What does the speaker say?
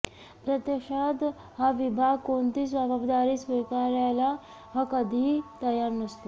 प्रत्यक्षात हा विभाग कोणतीच जबाबदारी स्वीकारायला कधी तयार नसतो